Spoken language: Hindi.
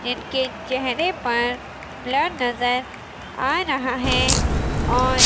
एक के चेहरे पर ब्लर नजर आ रहा और--